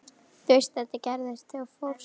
Þú veist að þetta gerðist þegar þú fórst.